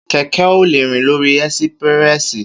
Kẹkẹ ò lẹ rín lòrí ẹsípìrẹsí